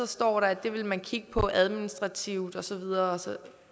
står at det vil man kigge på administrativt og så videre